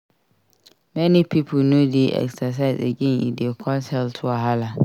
Many young pipo no dey exercise again e dey cause health wahala.